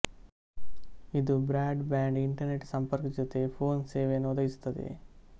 ಇದು broadband internet ಸಂಪರ್ಕದ ಜೊತೆ ಫೋನ್ ಸೇವೆಯನ್ನು ಒದಗಿಸುತ್ತದೆ